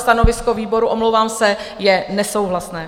Stanovisko výboru, omlouvám se, je nesouhlasné.